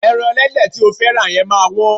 Ẹran ẹlẹ́dẹ̀ tí o fẹ́ rà yẹn máa wọ́n.